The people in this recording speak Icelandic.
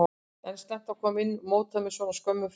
Er slæmt að koma inn í mótið með svona skömmum fyrirvara?